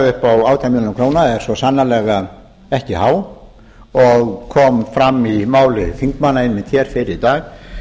upp á átján milljónir króna er svo sannarlega ekki há og kom fram í máli þingmanna einmitt hér fyrr i dag